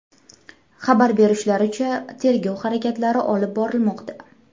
Xabar berishlaricha, tergov harakatlari olib borilmoqda.